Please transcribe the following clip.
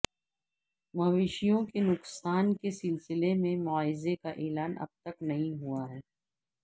مویشیوں کے نقصان کے سلسلے میں معاضے کا اعلان اب تک نہیں ہوا ہے